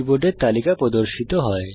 কীবোর্ডের তালিকা প্রদর্শিত হয়